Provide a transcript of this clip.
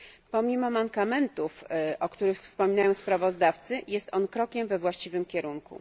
Pomimo mankamentów, o których wspominają sprawozdawcy, jest on krokiem we właściwym kierunku.